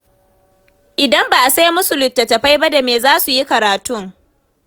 Idan ba a sai musu littattafai ba da me za su yi karatun?